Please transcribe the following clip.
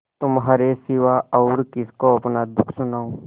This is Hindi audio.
तुम्हारे सिवा और किसको अपना दुःख सुनाऊँ